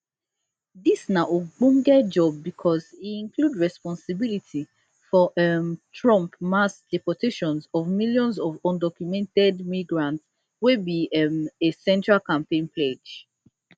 dis na ogbonge job because e include responsibility for um trump mass deportations of millions of undocumented migrants wey be um a central campaign pledge